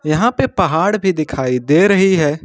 यहां पे पहाड़ भी दिखाई दे रही है।